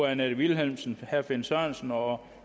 annette vilhelmsen finn sørensen og